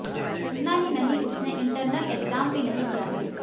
इतना ही नहीं उसने इंटरनल एग्जाम भी नहीं दिया है